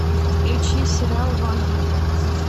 включи сериал ванга